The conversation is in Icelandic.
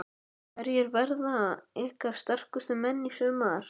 Hverjir verða ykkar sterkustu menn í sumar?